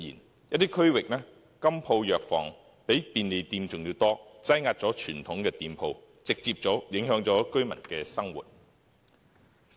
在一些地區，金鋪、藥房比便利店還要多，擠壓傳統店鋪，直接影響居民生活。